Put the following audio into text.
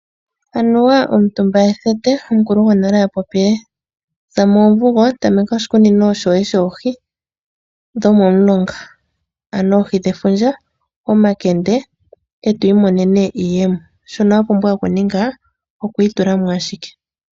Anuwa omutumba ethete, omukulu gwonale a popile, za moomvugo ta meka oshikunino shoye shoohi dhomomulonga, aano oohi dhefundja, omakende, etwiimonene iiyemo, shono wa pumbwa okuninga okwiitula mo ashike.